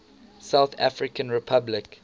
south african republic